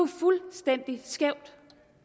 fuldstændig skævt